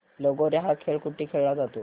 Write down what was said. लगोर्या हा खेळ कुठे खेळला जातो